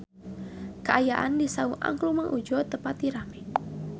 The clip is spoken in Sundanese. Kaayaan di Saung Angklung Mang Udjo teu pati rame